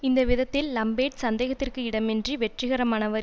இந்த விதத்தில் லம்பேர்ட் சந்தேகத்திற்கு இடமின்றி வெற்றிகரமானவர்